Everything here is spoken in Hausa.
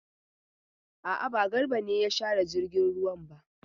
A'a, ba Garba ne ya share jirgin ruwan ba.